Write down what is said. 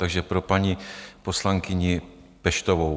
Takže pro paní poslankyni Peštovou.